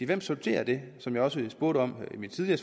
hvem sorterer det som jeg også spurgte om i mit tidligere